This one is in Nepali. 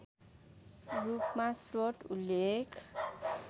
रूपमा स्रोत उल्लेख